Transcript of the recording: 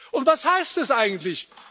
Und was heißt das eigentlich?